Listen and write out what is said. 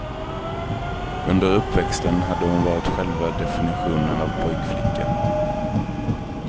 Under uppväxten hade hon varit själva definitionen av pojkflicka.